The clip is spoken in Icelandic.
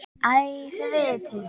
Æ, þið vitið.